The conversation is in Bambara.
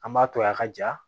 An m'a to a ka ja